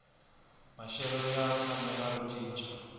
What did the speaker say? maxelo ya tshamela ro cinca